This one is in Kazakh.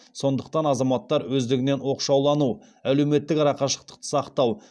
сондықтан азаматтар өздігінен оқшаулану әлеуметтік арақашықтықты сақтау